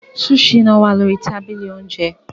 Sushi náà wà lórí tábìlì oúnjẹ.